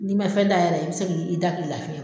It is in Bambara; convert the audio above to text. N'i man fɛn da yɛrɛ i bɛ se k'i da k'i lafiya.